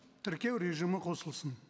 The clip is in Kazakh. тіркеу режимі қосылсын